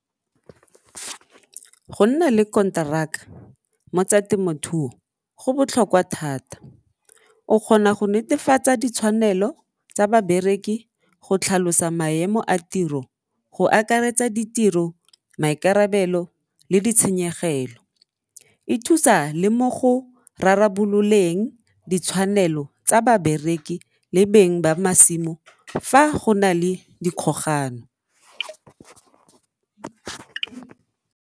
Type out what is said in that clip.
Go nna le konteraka mo tsa temothuo go botlhokwa thata, o kgona go netefatsa ditshwanelo tsa babereki go tlhalosa maemo a tiro go akaretsa ditiro, maikarabelo le ditshenyegelo. E thusa le mo go rarabololeng ditshwanelo tsa babereki le beng ba masimo fa go na le dikgogano.